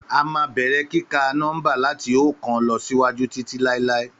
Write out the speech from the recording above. Àmá bẹẹrẹ kikà nómba làtí ookan lọsíwàjú títí láíláí